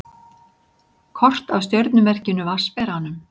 Kort af stjörnumerkinu Vatnsberanum.